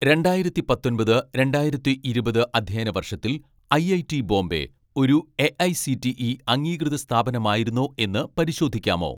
രണ്ടായിരത്തി പത്തൊൻപത് രണ്ടായിരത്തി ഇരുപത് അധ്യയന വർഷത്തിൽ ഐഐടി ബോംബെ ഒരു എ.ഐ.സി.ടി.ഇ അംഗീകൃത സ്ഥാപനമായിരുന്നോ എന്ന് പരിശോധിക്കാമോ